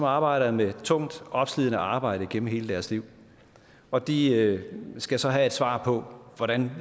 arbejder med tungt opslidende arbejde gennem hele deres liv og de skal så have et svar på hvordan